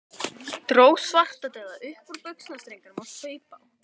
Dró Svartadauða upp úr buxnastrengnum og saup á.